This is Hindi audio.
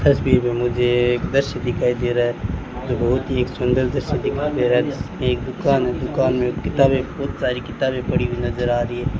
तस्वीर में मुझे एक दृश्य दिखाई दे रहा है जो बहुत ही एक सुंदर दृश्य दिखाई दे रहा है एक दुकान है दुकान में किताबें बहुत सारी किताबें पड़ी हुई नजर आ रही है।